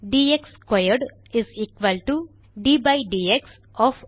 T x squared is equal to d by d x of